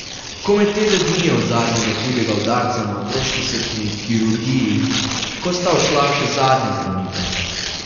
Komaj teden dni je od zadnjega hudega udarca na otroški srčni kirurgiji, ko sta odšla še zadnja zdravnika.